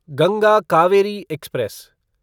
Ganga Kaveri express